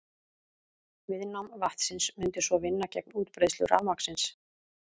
Viðnám vatnsins mundi svo vinna gegn útbreiðslu rafmagnsins.